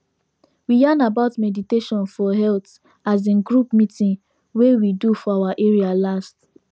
we yarn about meditation for health as in group meeting wey we do for our area last